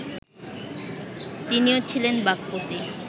তিনিও ছিলেন বাক্পতি